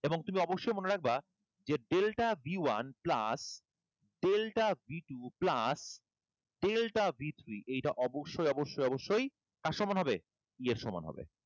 এবং তুমি অবশ্যই মনে রাখবা যে delta b one plus delta b two plus delta b three এটা অবশ্যই অবশ্যই কার সমান হবে? E এর সমান হবে।